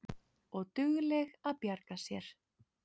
Og dugleg að bjarga sér.